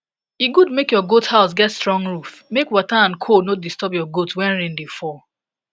e good make ur goat house get strong roof make water and cold no disturb your goat when rain da fall